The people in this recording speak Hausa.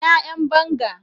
Ina Yan banga?